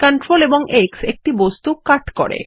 Ctrl X একটি বস্তু cut দেয়